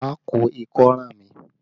Má ko ikọ́ ràn mí!